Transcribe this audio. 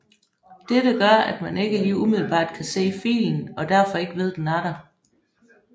Dette gør at man ikke lige umiddelbart kan se filen og derfor ikke ved den er der